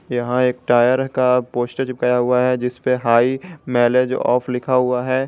यहां एक टायर का पोस्टर चिपकाया हुआ है जिस पे हाई माइलेज ऑफ लिखा हुआ है।